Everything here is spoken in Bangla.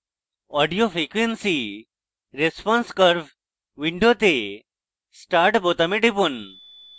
audio frequency response curve window start বোতামে টিপুন